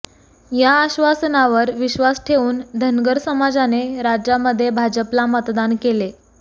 या आश्वासनावर विश्वास ठेवून धनगर समाजाने राज्यामध्ये भाजपला मतदान केले